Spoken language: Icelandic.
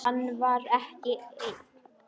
Hann var ekki einn.